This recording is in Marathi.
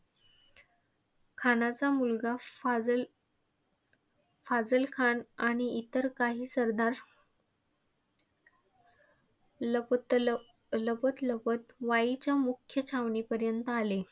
खानाचा मुलगा फाजल फाजल खान आणि इतर काही सरदार लपत लपलपत लपत वाईच्या मुख्य छावणीपर्यंत आले.